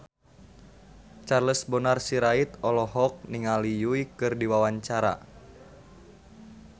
Charles Bonar Sirait olohok ningali Yui keur diwawancara